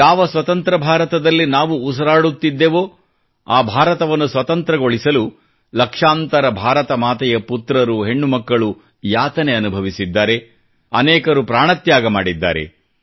ಯಾವ ಸ್ವತಂತ್ರ ಭಾರತದಲ್ಲಿ ನಾವು ಉಸಿರಾಡುತ್ತಿದ್ದೆವೋ ಆ ಭಾರತವನ್ನು ಸ್ವತಂತ್ರೊಳಿಸಲು ಲಕ್ಷಾಂತರ ಭಾರತ ಮಾತೆಯ ಪುತ್ರರು ಹೆಣ್ಣು ಮಕ್ಕಳು ಯಾತನೆ ಅನುಭವಿಸಿದ್ದಾರೆ ಮತ್ತು ಅನೇಕರು ಪ್ರಾಣ ತ್ಯಾಗ ಮಾಡಿದ್ದಾರೆ